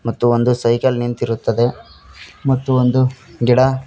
ಮತ್ತು ಒಂದು ಸೈಕಲ್ ನಿಂತಿರುತ್ತದೆ ಮತ್ತು ಒಂದು ಗಿಡ --